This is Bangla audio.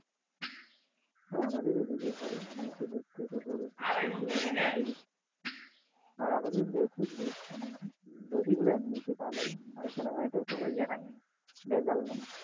হ্যাঁ আমাদের দিকে হয় মহিষের দুধ থেকে গরুর দুধ থেকে আর আমাদের দধি গুলা এমনিতেই ভালো আর এখানে কোন ইয়ে নাই ভেজাল নাই